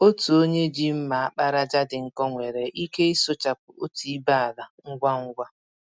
Otu onye ji mma àkpàràjà dị nkọ nwere ike ịsụchapụ otú ibé ala ngwa ngwa.